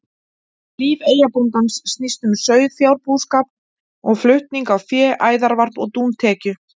Líf eyjabóndans snýst um sauðfjárbúskap og flutning á fé, æðarvarp og dúntekju.